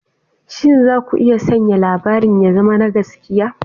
Shin za ku iya sanya labarin ya zama na gaskiya?